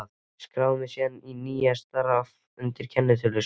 Ég skráði mig síðan í nýja starfið undir kennitölu sem